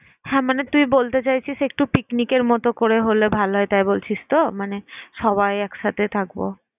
হ্যাঁ মানে তুই বলতে চাইছিস একটু পিকনিকের মত করে হলে ভালো হয়। তাই বলছিস তো? মানে সবাই একসাথে থাকব।